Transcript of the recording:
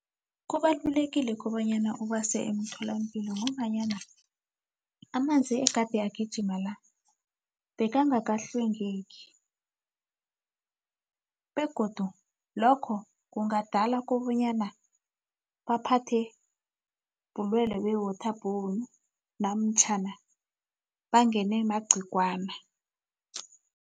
Kubalulekile kobanyana ubase emtholampilo ngombanyana amanzi egade agijima la, bekangakahlwengeki begodu lokho kungadala kobanyana baphathe bulwelwe be-water bourne namtjhana bangene magciwana.